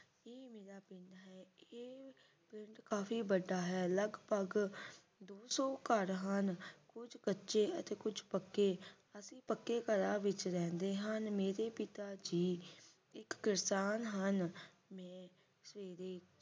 ਕਾਫੀ ਵੱਡਾ ਹੈ ਲਗਭਗ ਦੋ ਸੌ ਘਰ ਹਨ ਕੁੱਝ ਕੱਚੇ ਅਤੇ ਕੁਝ ਪਕੇ ਅਸੀਂ ਪਕੇ ਘਰਾਂ ਦੇ ਵਿਚ ਰਹਿਨੇ ਆਂ ਮੇਰੇ ਪਿਤਾ ਜੀ ਇਕ ਕਿਸਾਨ ਹਨ ਮੈਂ ਸਵੇਰੇ